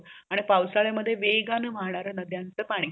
आणि पावसल्या मध्ये वेगन वाहणार नद्यचं पाणी